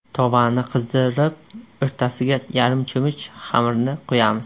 Tovani qizdirib, o‘rtasiga yarim cho‘mich xamirni quyamiz.